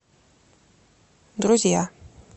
друзья